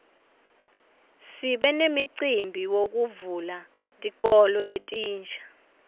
sibe nemicimbi wekuvula tikolo letinsha